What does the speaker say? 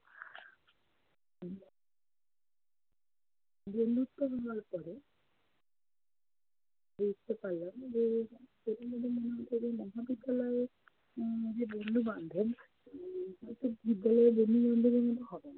বন্ধুত্ব হওয়ার পরে দেখতে পারলাম যে প্রথম প্রথম মনে হতো যে, মহাবিদ্যালয়ে উম যে বন্ধু-বান্ধব উম সেটা ঠিক বিদ্যালয়ের বন্ধু-বান্ধব এর মতো হবে না।